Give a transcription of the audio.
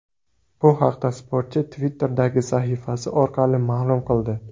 Bu haqda sportchi Twitter’dagi sahifasi orqali ma’lum qildi .